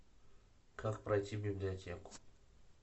как пройти в библиотеку